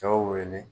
Cɛw wele